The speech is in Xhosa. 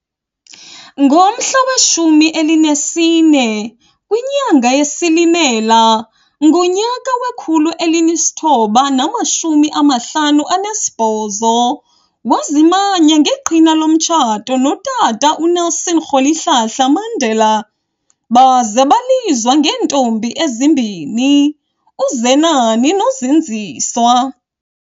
Ngomhla we-14 kwinyanga yeSilimela ngonyaka we-1958 wazimanya ngeqhina lomtshato notata uNelson Rholihlahla Mandela, baza balizwa ngeentombi ezimbini, uZenani noZindziswa.